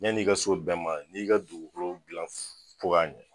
Ɲan'i ka s'o bɛɛ ma i ka dugukolo dilan f fo k'a ɲɛ